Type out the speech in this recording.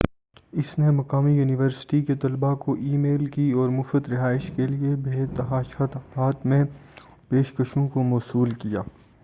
اس نے مقامی یونیورسٹی کے طلبہ کو ای میل کی اور مفت رہائش کے لیے بے تحاشا تعداد میں پیشکشوں کو موصول کیا